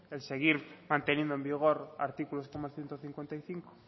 el seguir manteniendo en vigor artículos como el ciento cincuenta y cinco